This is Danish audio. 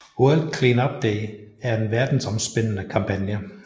World Cleanup Day er en verdensomspændende kampagne